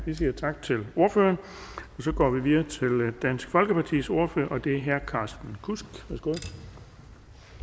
vi siger tak til ordføreren så går vi videre til dansk folkepartis ordfører og det er herre carsten kudsk